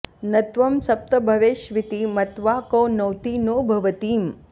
न त्वं सप्तभवेष्विति मत्वा को नौति नो भवतीम्